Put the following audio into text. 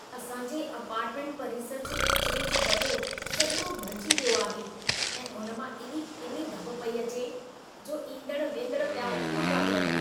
असां जे अपार्टमेंट परिसर जो किचिरे जो दॿो समूरो भरिजी वियो आहे ऐं उन मां एॾी किनी धप पेई अचे, जो ईंदड़-वेंदड़ पिया उॿिका ॾियनि।